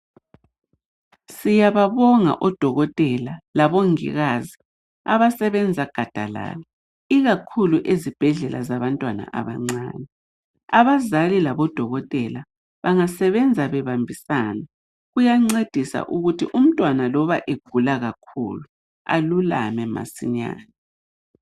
Siyababonga odokotela labongikazi abasebenza gadalaala ikakhulu ezibhedlela zabantwana abancane. Abazali labodokotela bangasebenza bebambisana kuyancedisa ukuthi umntwana loba egula kakhulu alulame masinyane.